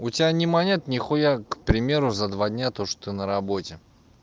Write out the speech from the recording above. у тебя не монет нихуя к примеру за два дня то что ты на работе